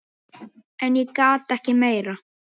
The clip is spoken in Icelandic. En ég gat ekki meir.